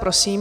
Prosím.